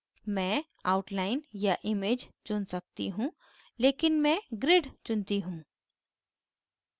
मैं outline या image चुन सकती हूँ लेकिन मैं grid चुनती हूँ